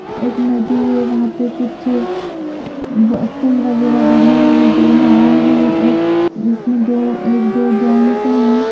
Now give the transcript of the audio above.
एक नदी है वहा पे कुछ पुल वगैरा बने है दो नाव है एक उसमें दो एक दो जेंट्स है।